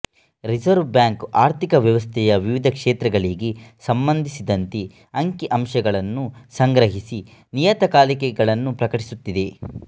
reserve bank ಆರ್ಥಿಕ ವ್ಯವಸ್ಥೆಯ ವಿವಿಧ ಕ್ಷೇತ್ರಗಳಿಗೆ ಸಂಬಂಧಿಸಿದಂತೆ ಅಂಕಿ ಅಂಶಗಳನ್ನು ಸಂಗ್ರಹಿಸಿ ನಿಯತಕಾಲಿಕೆಗಳನ್ನು ಪ್ರಕಟಿಸುತ್ತಿದೆ